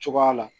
Cogoya la